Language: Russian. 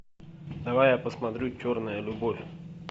давай я посмотрю черная любовь